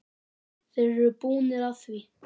Þeir eru búnir að því.